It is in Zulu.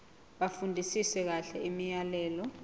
bafundisise kahle imiyalelo